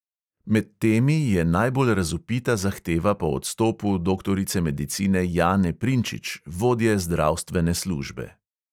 Med temi je najbolj razvpita zahteva po odstopu doktorice medicine jane prinčič, vodje zdravstvene službe.